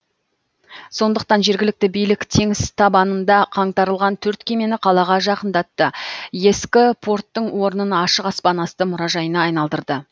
сондықтан жергілікті билік теңіз табанында қаңтарылған төрт кемені қалаға жақындатты ескі порттың орнын ашық аспан асты мұражайына айналдырды